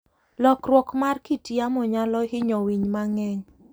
Lokruok mar kit yamo nyalo hinyo winy mang'eny.